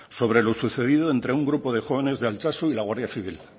sobre lo sucedido entre un grupo de jóvenes de altsasu y la guardia civil